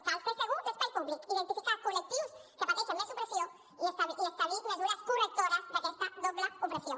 cal fer segur l’espai públic identificar col·lectius que pateixen més opressió i establir mesures correctores d’aquesta doble opressió